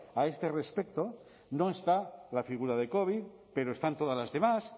a este respecto no está la figura de covid pero están todas las demás